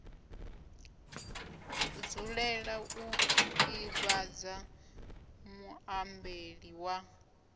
dzulela u ḓivhadza muambeli wa